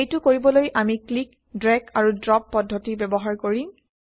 এইটো কৰিবলৈ আমি ক্লিক ড্ৰেগ আৰু ড্ৰ্প পদ্ধতি ব্যৱহাৰ কৰিম